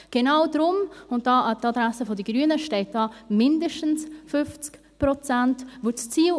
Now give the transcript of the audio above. Genau deshalb – dies an die Adresse der Grünen – steht «mindestens 50 Prozent».